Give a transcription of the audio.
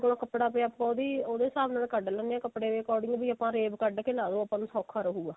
ਕੋਲ ਕੱਪੜਾ ਪਿਆ ਆਪਾਂ ਉਹਦੀ ਉਹਦੇ ਹਿਸਾਬ ਨਾਲ ਕੱਢ ਲੈਣੇ ਆ ਕੱਪੜੇ ਦੇ according ਵੀ ਆਪਾਂ rave ਕੱਢ ਕੇ ਲਗਾ ਲਿਓ ਆਪਾਂ ਨੂੰ ਸੋਖਾ ਰਹੇਗਾ